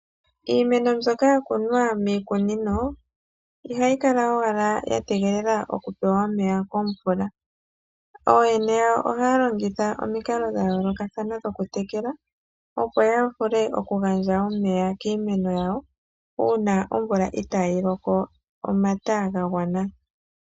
Iimeno mbyoka ya kunwa miikunino, ihayi kala owala ya tegelela okupewa omeya komvula. Ooyene yawo ohaya longitha omikalo dha yoolokathana dhokutekela opo ya vule okugandja omeya kiimeno yawo, uuna omvula itaayi loko omata ga gwana..